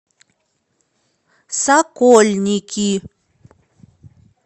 сокольники